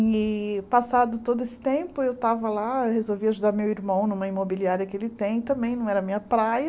E passado todo esse tempo, eu estava lá, resolvi ajudar meu irmão numa imobiliária que ele tem também, não era minha praia.